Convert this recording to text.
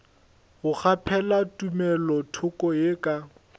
go kgaphela tumelothoko ye ka